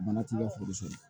Mana t'i ka foro sɔrɔ